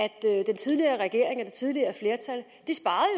den tidligere regering og det tidligere flertal jo